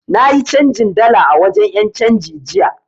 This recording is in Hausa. Na yi canjin dala a wajen 'yancanji jiya.